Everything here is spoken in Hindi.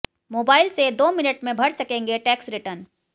मोबाइल से दो मिनट में भर सकेंगे टैक्स रिटर्न